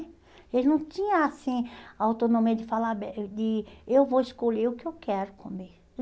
Ele não tinha, assim, autonomia de falar, de eu vou escolher o que eu quero comer.